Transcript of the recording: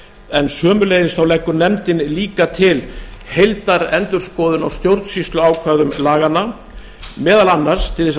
en sömuleiðis þá leggur nefndin líka til heildarendurskoðun á stjórnsýsluákvæðum laganna meðal annars til þess